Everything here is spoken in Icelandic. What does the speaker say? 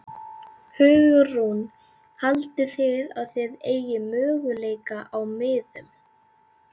Hugrún: Haldið þið að þið eigið möguleika á miðum?